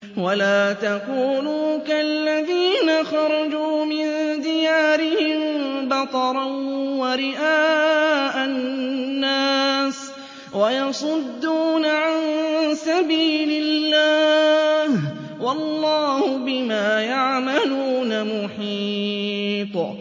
وَلَا تَكُونُوا كَالَّذِينَ خَرَجُوا مِن دِيَارِهِم بَطَرًا وَرِئَاءَ النَّاسِ وَيَصُدُّونَ عَن سَبِيلِ اللَّهِ ۚ وَاللَّهُ بِمَا يَعْمَلُونَ مُحِيطٌ